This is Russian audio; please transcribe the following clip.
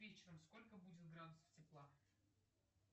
вечером сколько будет градусов тепла